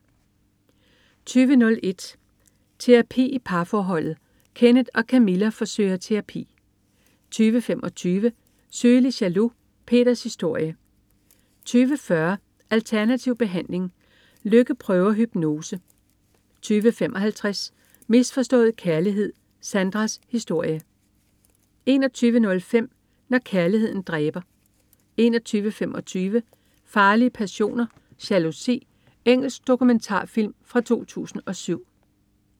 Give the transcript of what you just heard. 20.01 Terapi til parforholdet. Kenneth og Camilla forsøger terapi 20.25 Sygelig jaloux. Peters historie 20.40 Alternativ behandling. Lykke prøver hypnose 20.55 Misforstået kærlighed. Sandras historie 21.05 Når kærligheden dræber 21.25 Farlige passioner: Jalousi. Engelsk dokumentarfilm fra 2007